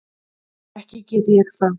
Ekki get ég það.